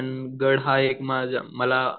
पण गड हा एक माझा